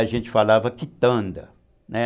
A gente falava quitanda, né?